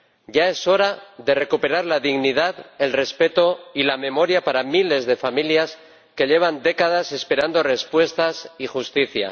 Ya es hora de recuperar la dignidad, el respeto y la memoria para miles de familias que llevan décadas esperando respuestas y justicia.